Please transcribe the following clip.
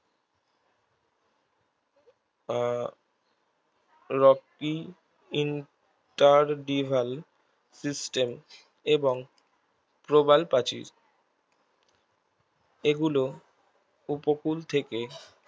আহ rocky interbival system এবং প্রবাল প্রাচীর এগুলো উপকূল থেকে